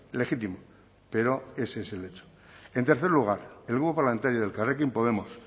legítimo pero ese es el hecho en tercer lugar el grupo parlamentario de elkarrekin podemos